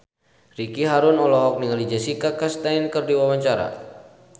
Ricky Harun olohok ningali Jessica Chastain keur diwawancara